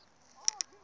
a swi nga kali swi